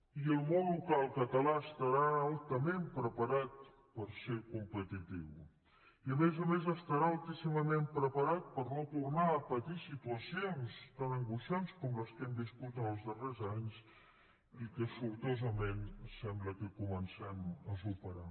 i el món local català estarà altament preparat per ser competitiu i a més a més estarà altíssimament preparat per no tornar a patir situacions tan angoixants com les que hem viscut els darrers anys i que sortosament sembla que comencem a superar